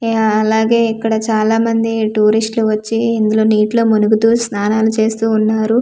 ఆ అలాగే ఇక్కడ చాలా మంది ఆ అలాగే ఇక్కడ చాలా మంది టూరిస్టలు వచ్చి ఇందులో నీటి లో మునుగుతు స్నానలు చేస్తూ ఉన్నారు .]